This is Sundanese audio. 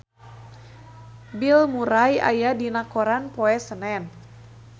Bill Murray aya dina koran poe Senen